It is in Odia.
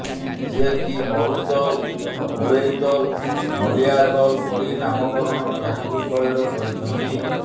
ଯିଏକି ମରୁତଲ ବୁଳେଇତଲ ନଲିଆତଲ ପରି ନାମକରଣ ଠାକୁର ସ୍ଥଳୀର କରିଛନ୍ତି